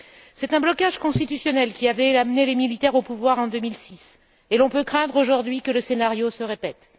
C'est un blocage constitutionnel qui avait amené les militaires au pouvoir en 2006 et l'on peut craindre aujourd'hui que le scénario se répète.